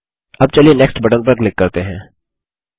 अब चलिए next button पर क्लिक करते हैं